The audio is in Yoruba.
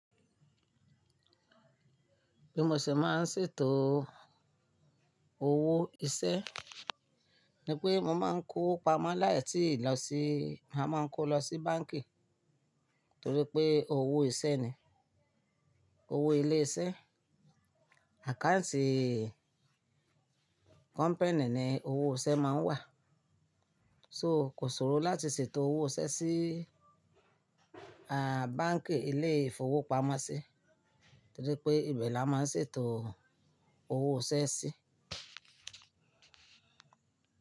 Bí mo ṣe máa ń ṣètò owó iṣẹ́ ni pé mo máa ń kó pamọ́ láì tíì lọ sí, màá máa kó lọ sí báǹkì torí pé owó iṣẹ́ ni, owó ilé iṣẹ́. Àkáǹtì company ni owó iṣẹ́ máa ń wà. So kò sọ̀rọ̀ láti ṣètò owó iṣẹ́ sí, à, báǹkì ilé ìfowópamọ́sí torí pé ibẹ̀ la máa ń ṣètò owó iṣẹ́ sí.